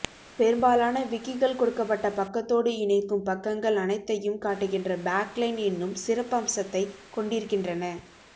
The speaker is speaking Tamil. பெரும்பாலான விக்கிகள் கொடுக்கப்பட்ட பக்கத்தோடு இணைக்கும் பக்கங்கள் அனைத்தையும் காட்டுகின்ற பேக்லைன் என்னும் சிறப்பம்சத்தைக் கொண்டிருக்கின்றன